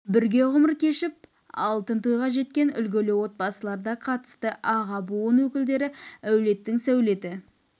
бірге ғұмыр кешіп алтын тойға жеткен үлгілі отбасылар да қатысты аға буын өкілдері әулеттің сәулеті